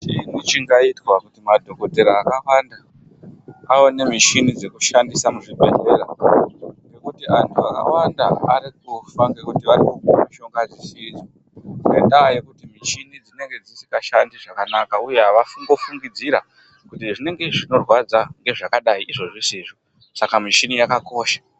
Chiini vhingaitwa madhokotera akwanda aone muchini dzekushandisa muzvibhedhlera ngekuti antu akawanda ari kufa ngekuti vari kumwe mushonga dzisidzo ngendaa ngekuti michini dzinenge dzeishanda uye ava ngavangofungidzira kuti hezvinenge zvinorwadza ngezvakadai izvo zvisizvi saka muchini yakakosha.